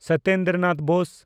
Satyendra Nath Bose